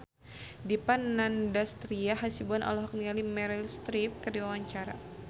Dipa Nandastyra Hasibuan olohok ningali Meryl Streep keur diwawancara